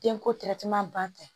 Denko ban tɛ